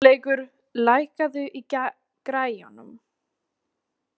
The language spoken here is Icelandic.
Guðleikur, lækkaðu í græjunum.